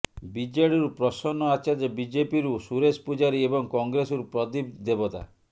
ବିଜେଡିରୁ ପ୍ରସନ୍ନ ଆଚାର୍ଯ୍ୟ ବିଜେପିରୁ ସୁରେଶ ପୂଜାରୀ ଏବଂ କଂଗ୍ରେସରୁ ପ୍ରଦୀପ ଦେବତା